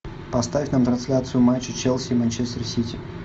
поставь нам трансляцию матча челси и манчестер сити